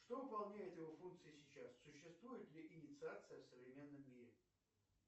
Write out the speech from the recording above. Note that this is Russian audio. что выполняет его функции сейчас существует ли инициация в современном мире